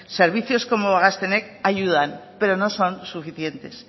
servicios como gaztenet ayudan pero no son suficientes